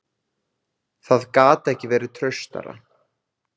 Það gat ekki verið traustara.